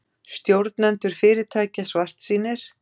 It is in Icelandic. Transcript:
Stjórnendur fyrirtækja svartsýnir